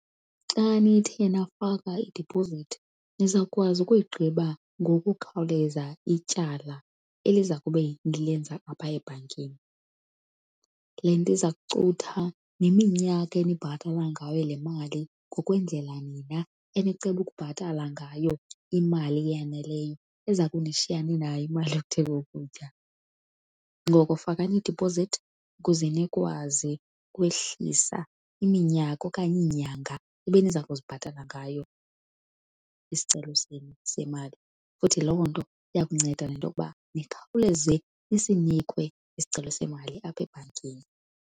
Xa nithe nafaka idipozithi nizawukwazi ukuyigqiba ngokukhawuleza ityala eliza kube nilenza apha ebhankini. Le nto iza kucutha neminyaka enibhatala ngayo le mali ngokwendlela nina eniceba ukubhatala ngayo imali eyaneleyo eza kunishiya ninayo imali yokuthenga ukutya. Ngoko fakani idiphozithi ukuze nikwazi ukwehlisa iminyaka okanye iinyanga ebeniza kuzibhatala ngayo isicelo senu semali. Futhi loo nto iya kunceda nento yokuba nikhawuleze nisinikwe isicelo semali apha ebhankini.